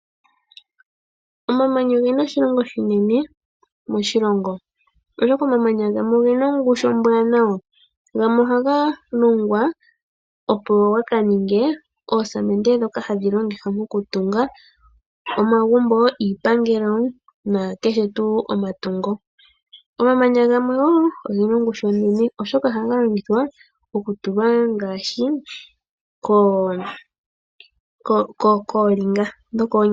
Omamanya oge na oshilonga oshinene moshilongo, oshoka omamanya gamwe oge na ongushu ombwaanawa. Gamwe ohaga longwa, opo ga ka ninge oosamende ndhoka hadhi longithwa mokutunga omagumbo, iipangelo, nakehe tuu omatungo. Omamanya gamwe oge na ongushu onene, oshoka ohaga longithwa okutulwa ngaashi koolinga dhokoonyala.